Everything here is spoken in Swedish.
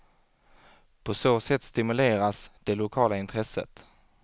På så sätt stimuleras det lokala intresset.